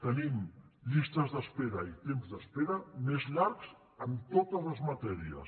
tenim llistes d’espera i temps d’espera més llargs en totes les matèries